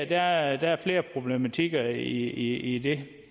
der er flere problematikker i det